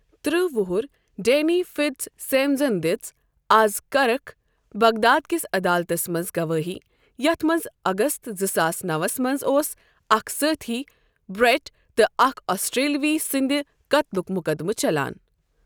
ترٕہ وُہُر ڈینی فٹزسیمنزَن دِژ آز کرخ، بغداد کِس عدالتَس منٛز گوٲہی یَتھ منٛز اگست زٕ ساس نَوَس منٛز اوس اکھ سٲتھی برٹ تہٕ اکھ آسٹریلوی سٕنٛدِ قتلُک مقدمہٕ چلان۔